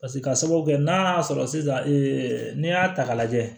Paseke ka sababu kɛ n'a y'a sɔrɔ sisan n'i y'a ta k'a lajɛ